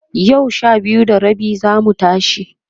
yau Sha biyu da rabi zamu tashi